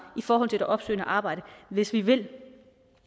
i forhold til det opsøgende arbejde hvis vi vil